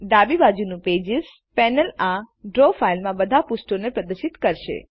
ડાબી બાજુનું pages panel આ ડ્રો ફાઈલમાંના બધા પૃષ્ઠોને પ્રદર્શિત કરે છે